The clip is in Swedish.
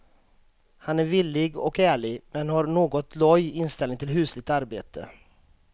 Han är villig och ärlig, men har en något loj inställning till husligt arbete.